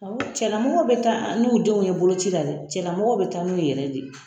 Awɔ cɛlamɔgɔw bɛ taa n'u denw ye boloci la dɛ cɛlamɔgɔw bɛ taa n'u ye yɛrɛ de